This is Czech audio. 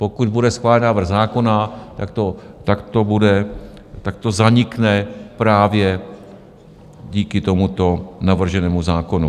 Pokud bude schválen návrh zákona, tak to zanikne právě díky tomuto navrženému zákonu.